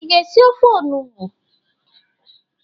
Ị ga-esi ofe onugbo?